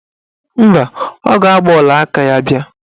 Mba, ọ ga-agba ọlaaka ya bịa